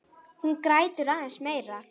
Hún grætur aðeins meira.